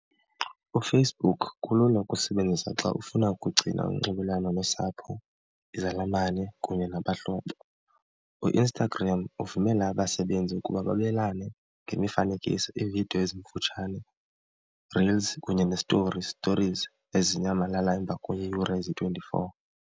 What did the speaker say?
UFacebook kulula ukusebenzisa xa ufuna ukugcina unxibelelwano nosapho, izalamane kunye nabahlobo. UInstagram uvumela abasebenzi ukuba babelane ngemifanekiso, iividiyo ezimfutshane, reels, kunye nesitori, stories ezinyamalala emva kweeyure ezi-twenty-four.